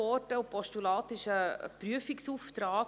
ein Postulat ist ein Prüfauftrag.